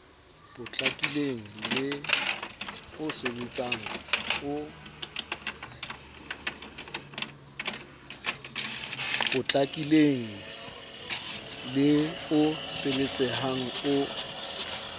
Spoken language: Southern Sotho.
potlakileng le o sebetsehang o